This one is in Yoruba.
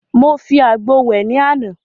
Mo fi àgbo wẹ̀ ní àná.